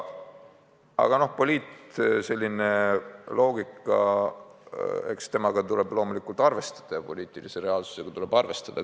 Aga noh, eks poliitloogikaga tuleb loomulikult arvestada, poliitilise reaalsusega tuleb arvestada.